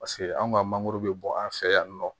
Paseke anw ka mangoro be bɔ an fɛ yan nɔ